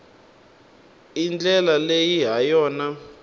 i ndlela leyi ha yona